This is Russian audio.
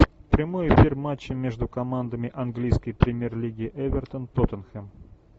прямой эфир матча между командами английской премьер лиги эвертон тоттенхэм